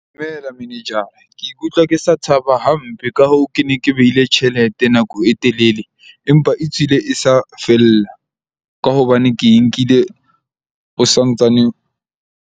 Dumela manejara, ke ikutlwa ke sa thaba hampe. Ka hoo, ke ne ke behile tjhelete nako e telele empa e tswile e sa fella ka hobane ke nkile ho santsaneng.